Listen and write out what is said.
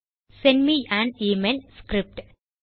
send me an email script